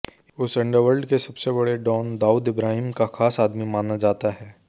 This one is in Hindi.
उस अंडरवर्ल्ड के सबसे बड़े डॉन दाऊद इब्राहिम का खास आदमी माना जाता है